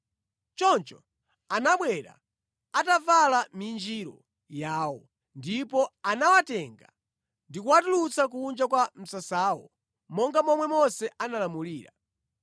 Choncho anabwera atavala minjiro yawo ndipo anawatenga ndi kuwatulutsa kunja kwa msasawo monga momwe Mose analamulira.